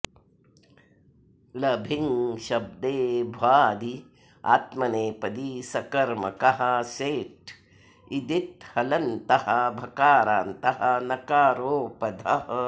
लभिँ शब्दे भ्वादिः आत्मनेपदी सकर्मकः सेट् इदित् हलन्तः भकारान्तः नकारोपधः